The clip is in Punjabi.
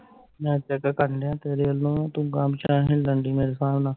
net ਹਿਦਰ ਘਟਣ ਡਿਆ ਤੇਰੇ ਅਲੋ ਤੂੰ ਗਾਂਹ ਪਿਛਾਂਹ ਹਿੱਲਣ ਡਈ ਮੇਰੇ ਹਿਸਾਬ ਨਾਲ